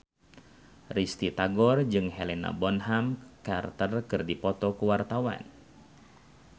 Risty Tagor jeung Helena Bonham Carter keur dipoto ku wartawan